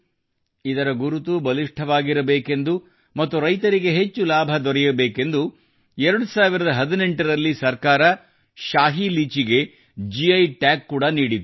ಇದರ ಗುರುತು ಬಲಿಷ್ಟವಾಗಿರಬೇಕೆಂದು ಮತ್ತು ರೈತರಿಗೆ ಹೆಚ್ಚು ಲಾಭದೊರೆಯಬೇಕೆಂದು 2018 ರಲ್ಲಿ ಸರ್ಕಾರವು ಶಾಹಿ ಲೀಚಿಗೆ ಗಿ ಟಾಗ್ ನೀಡಿತ್ತು